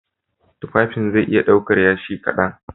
Tufafin zai iya ɗaukar Yashi kaɗan